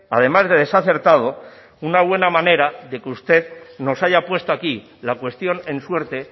además de desacertado una buena manera de que usted nos haya puesto aquí la cuestión en suerte